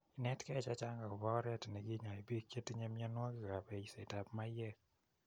Inetkei che chang' akopa oret nekinyae piik che tinye mianwokikap eisetap maiyek.